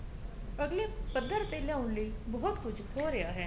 ਅਗਲੇ ਪੱਧਰ ਤੇ ਲਿਆਉਣ ਲਈ ਬਹੁਤ ਕੁੱਝ ਹੋ ਰਿਹਾ ਹੈ